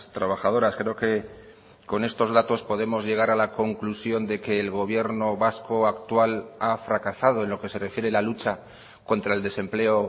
trabajadoras creo que con estos datos podemos llegar a la conclusión de que el gobierno vasco actual ha fracasado en lo que se refiere a la lucha contra el desempleo